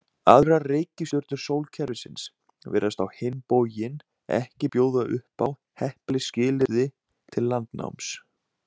Aðrar reikistjörnur sólkerfisins virðast á hinn bóginn ekki bjóða upp á heppileg skilyrði til landnáms.